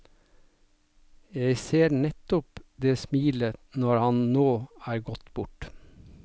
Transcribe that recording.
Jeg ser nettopp det smilet når han nå er gått bort.